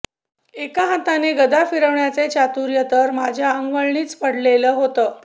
एका हाताने गदा फिरवण्याचे चातुर्य तर माझ्या अंगवळणीच पडले होते